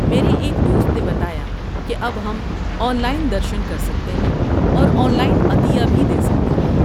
میرے ایک دوست نے بتایا کہ اب ہم آن لائن درشن کر سکتے ہیں اور آن لائن عطیہ بھی دے سکتے ہیں۔